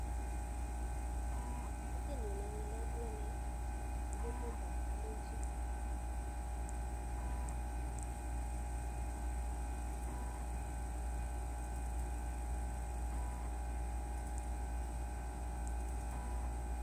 Kutit nyuu nee angalalii anee ko kutit ab kalenjin